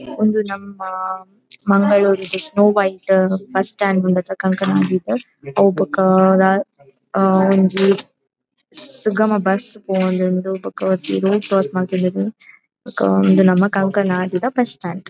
ಇಂದು ನಮ್ಮ ಮಂಗಳೂರುದ ಸ್ನೋ ವೈಟ್ ಬಸ್ ಸ್ಟ್ಯಾಂಡ್ ಉಂಡತ ಕಂಕನಾಡಿಡ್ ಅವು ಬೊಕ ಆ ಒಂಜಿ ಸುಗಮ ಬಸ್ ಪೋವೊಂದುಂಡು ಬೊಕ ಒರ್ತಿ ರೋಡ್ ಕ್ರಾಸ್ ಮಂತೊಂದುಲ್ಲೆರ್ ಬೊಕ ಇಂದು ನಮ್ಮ ಕಂಕನಾಡಿ ದ ಬಸ್ ಸ್ಟ್ಯಾಂಡ್ .